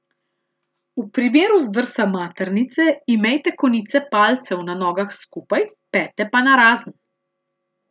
V primeru zdrsa maternice imejte konice palcev na nogah skupaj, pete pa narazen.